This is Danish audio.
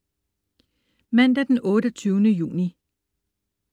Mandag den 28. juni